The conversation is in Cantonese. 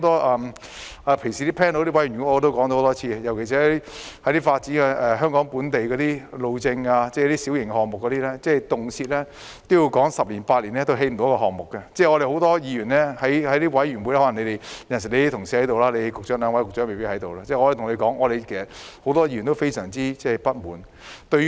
我平時在一些委員會也說了多次，尤其是發展本地路政的小型項目，動輒十年八年也完成不了一個項目，很多議員也在委員會——可能只有局長的同事出席，兩位局長未有出席——表示非常不滿。